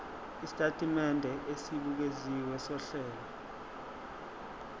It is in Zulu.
isitatimende esibukeziwe sohlelo